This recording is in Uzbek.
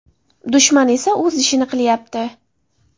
Dushman esa o‘z ishini qilyapti.